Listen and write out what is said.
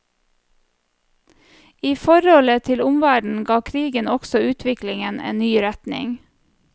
I forholdet til omverdenen ga krigen også utviklingen en ny retning.